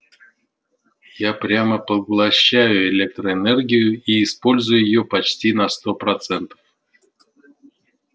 я прямо поглощаю электроэнергию и использую её почти на сто процентов